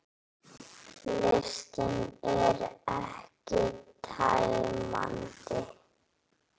Listinn er ekki tæmandi